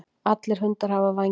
Allir hundar hafa vængi.